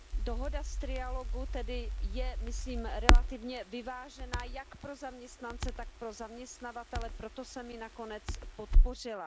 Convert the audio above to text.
Dohoda z trialogu tedy je, myslím, relativně vyvážená jak pro zaměstnance, tak pro zaměstnavatele, proto jsem ji nakonec podpořila.